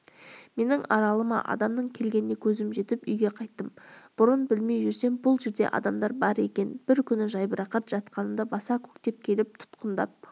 менің аралыма адамның келгеніне көзім жетіп үйге қайттым бұрын білмей жүрсем бұл жерде адамдар бар екен бір күні жайбарақат жатқанымда баса-көктеп келіп тұтқындап